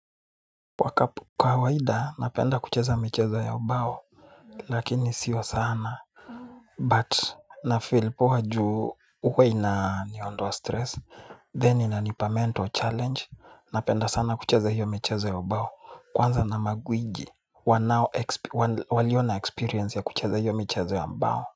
Wakapo kawaida napenda kucheza michezo ya ubao lakini sio sana but nafeel poa juu huwa inaniondoa stress then inanipa mental challenge napenda sana kucheza hiyo michezo ya ubao kwanza na magwiji wanao walio na experience ya kucheza hiyo michezo ya mbao.